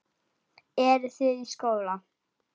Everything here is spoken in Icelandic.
Eru þið í skóla?